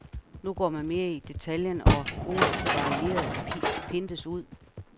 Nu går man mere i detaljen, og ordet varieret pindes ud.